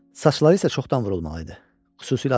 Saçları isə çoxdan vurulmalı idi, xüsusilə arxadan.